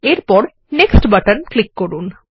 এরপরNext button click করুন